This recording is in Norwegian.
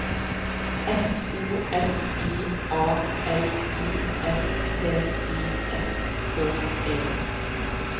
S O S I A L I S T I S K E